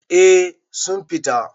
eh sun fito